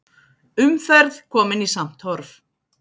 Umferð komin í samt horf